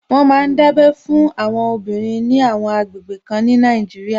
Wọ́n ma ń dábẹ́ fún àwọn obìnrin ní àwọn àgbègbè kan ní Nàìjíríà